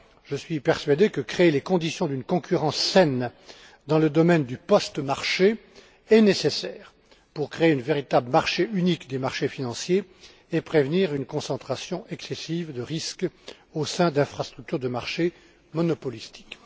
Je suis persuadé que créer les conditions d'une concurrence saine dans le domaine du postmarché est nécessaire pour créer un véritable marché unique des marchés financiers et prévenir une concentration excessive des risques au sein d'infrastructures de marché monopolistiques.